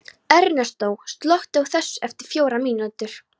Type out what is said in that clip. Ernestó, slökktu á þessu eftir fjórar mínútur.